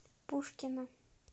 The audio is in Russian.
пушкино